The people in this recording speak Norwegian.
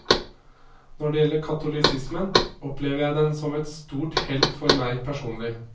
Når det gjelder katolisismen, opplever jeg den som et stort hell for meg personlig.